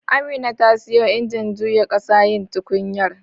Amina ta siyo injin juya ƙasa yin tukunyar